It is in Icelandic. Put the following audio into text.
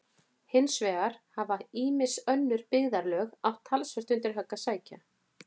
Hins vegar hafa ýmis önnur byggðarlög átt talsvert undir högg að sækja.